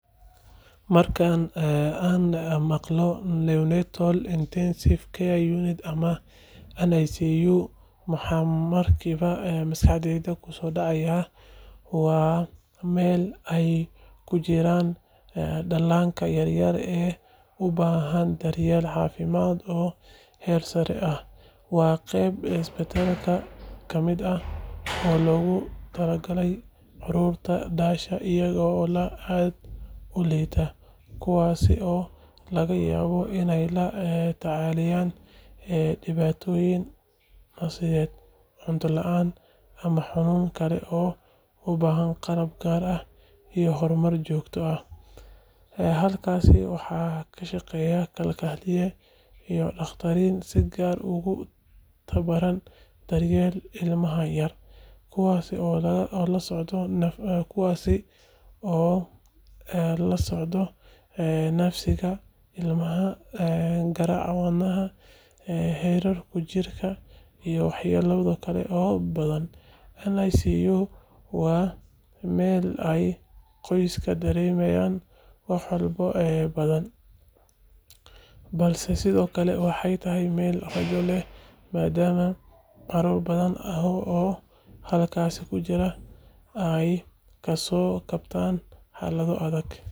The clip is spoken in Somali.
Marka aan maqlo Neonatal Intensive Care Unit ama NICU, waxa markiiba maskaxdayda kusoo dhacaya waa meel ay ku jiraan dhallaanka yar yar ee u baahan daryeel caafimaad oo heer sare ah. Waa qayb isbitaalka ka mid ah oo loogu talagalay carruurta dhasha iyaga oo aad u liita, kuwaas oo laga yaabo inay la tacaalayaan dhibaatooyin neefsiyeed, cunto la'aan, ama xanuunno kale oo u baahan qalab gaar ah iyo kormeer joogto ah. Halkaas waxa ka shaqeeya kalkaaliyeyaal iyo dhakhaatiir si gaar ah ugu tababaran daryeelka ilmaha yar, kuwaas oo la socda neefsiga ilmaha, garaaca wadnaha, heerkulka jirka, iyo waxyaabo kale oo badan. NICU waa meel ay qoysku dareemaan walbahaar badan, balse sidoo kale waxay tahay meel rajo leh, maadaama carruur badan oo halkaas ku jira ay kasoo kabtaan xaalado adag una gudbaan nolol caadi ah. Daryeelka halkaas ka socda waa mid aad u sarreeya.